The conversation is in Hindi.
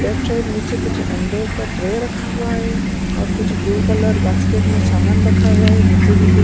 लेफ्ट साइड नीचे कुछ अण्डे का ट्रे रखा हुआ है और कुछ ब्लू कलर बास्केट में सामान रखा हुआ है नीचे भी कुछ --